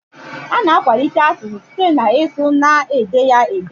Ana akwalite asụsụ site na ịsụ na ede ya ede